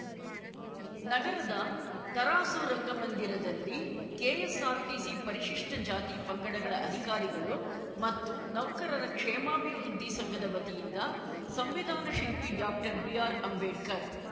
ನಗರದ ತರಾಸು ರಂಗಮಂದರಲ್ಲಿ ಕೆಎಸ್‌ಆರ್‌ಟಿಸಿ ಪರಿಶಿಷ್ಟಜಾತಿ ಪಂಗಡಗಳ ಅಧಿಕಾರಿಗಳು ಮತ್ತು ನೌಕರರ ಕ್ಷೇಮಾಭಿವೃದ್ಧಿ ಸಂಘದ ವತಿಯಿಂದ ಸಂವಿಧಾನ ಶಿಲ್ಪಿ ಡಾಕ್ಟರ್ಬಿಆರ್‌ಅಂಬೇಡ್ಕರ್‌